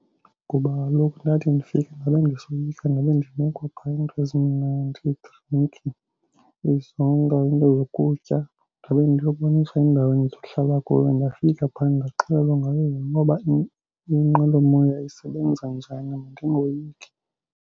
Ngoba kaloku ndathi ndifika ndabe ndisoyika ndabe ndinikwa phaa iinto ezimnandi, iidrinki, izonka into zokutya. Ndabe ndiboniswa indawo endizohlala kuyo ndafika pha ndaxelelwa ngayo yonke ngoba inqwelomoya isebenza njani ndingoyiki.